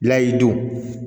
N'a y'i don